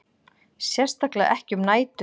Sérstaklega ekki um nætur.